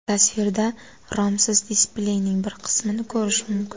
Tasvirda romsiz displeyning bir qismini ko‘rish mumkin.